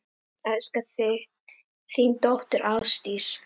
Elska þig, þín dóttir, Ásdís.